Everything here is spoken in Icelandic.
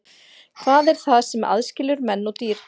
Hvað er það sem aðskilur menn og dýr?